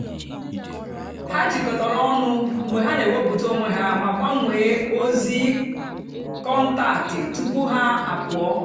ha jịkọtàra ọnụ́ mgbe ha na-èwèpụ̀tà onwé ha mà gbánwèè ozí kọ́ntáktị́ tupu ha àpụ́ọ.